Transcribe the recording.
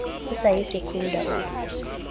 o sa ye secunda o